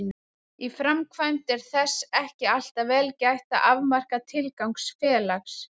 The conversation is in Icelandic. Í framkvæmd er þess ekki alltaf vel gætt að afmarka tilgang félags.